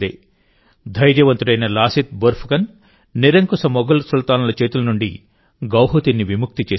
ధైర్యవంతుడైన లాసిత్ బోర్ఫుకన్ నిరంకుశ మొఘల్ సుల్తానుల చేతుల నుండి గౌహతిని విముక్తి చేశాడు